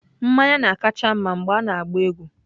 mmanya na-akacha mma mgbe a na-agba egwu.